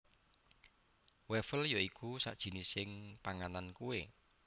Wafel ya iku sajinising panganan kue